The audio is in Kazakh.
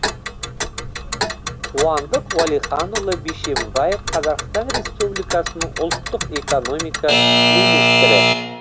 қуандық уәлиханұлы бишімбаев қазақстан республикасының ұлттық экономика министрі